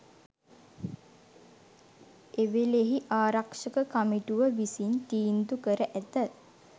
එවේලෙහි ආරක්‍ෂක කමිටුව විසින් තීන්දු කර ඇත